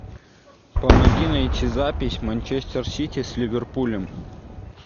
помоги найти запись манчестер сити с ливерпулем